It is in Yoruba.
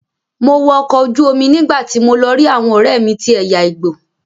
Mo wọ ọkọ̀ ojú omi nígbàtí mo lọ rí àwọn ọ̀rẹ́mi tí ẹ̀yà igbo.